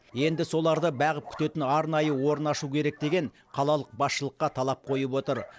енді соларды бағып күтетін арнайы орын ашу керек деген қалалық басшылыққа талап қойып отыр